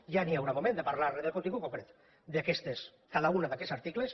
ja hi haurà moment de parlar del contingut concret de cada un d’aquests articles